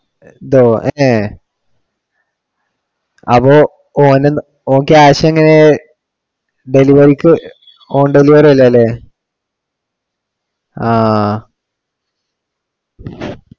എന്താ ഓനെ അപ്പൊ ഓന്, ഓൻ cash എങ്ങിനെ delivery ക്ക് on deliver ആയില്ല അല്ലെ. ആഹ്